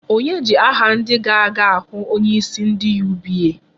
Onye ji aha ndị ga-aga ahụ onyeisi ndị UBA?